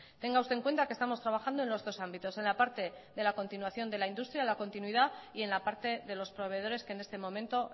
tenga usted en cuenta que estamos trabajando en los dos ámbitos en la parte de la continuación de la industria la continuidad y en la parte de los proveedores que en este momento